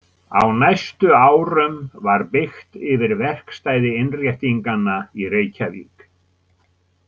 Á næstu árum var byggt yfir verkstæði Innréttinganna í Reykjavík.